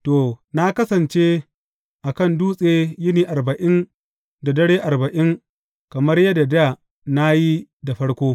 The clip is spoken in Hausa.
To, na kasance a kan dutse yini arba’in da dare arba’in kamar yadda dā na yi da farko.